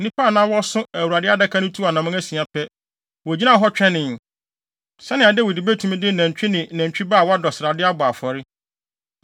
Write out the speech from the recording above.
Nnipa a na wɔso Awurade Adaka no tuu anammɔn asia pɛ, wogyinaa hɔ twɛnee, sɛnea Dawid betumi de nantwi ne nantwi ba a wadɔ srade abɔ afɔre.